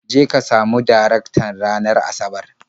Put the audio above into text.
Je ka samu Darektan ranar Asabar.